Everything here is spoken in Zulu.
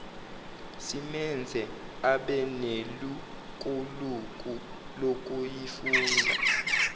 simenze abenelukuluku lokuyifunda